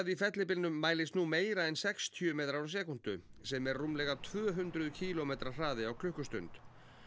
í fellibylnum mælist nú meira en sextíu metrar á sekúndu sem er rúmlega tvö hundruð kílómetra hraði á klukkustund